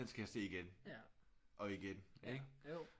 Den skal jeg se igen og igen ikke